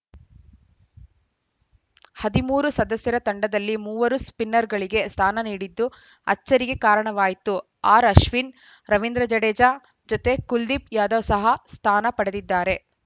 ಹದಿಮೂರು ಸದಸ್ಯರ ತಂಡದಲ್ಲಿ ಮೂವರು ಸ್ಪಿನ್ನರ್‌ಗಳಿಗೆ ಸ್ಥಾನ ನೀಡಿದ್ದು ಅಚ್ಚರಿಗೆ ಕಾರಣವಾಯಿತು ಆರ್‌ಅಶ್ವಿನ್‌ ರವೀಂದ್ರ ಜಡೇಜಾ ಜತೆ ಕುಲ್ದೀಪ್‌ ಯಾದವ್‌ ಸಹ ಸ್ಥಾನ ಪಡೆದಿದ್ದಾರೆ